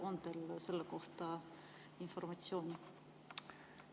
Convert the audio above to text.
On teil selle kohta informatsiooni?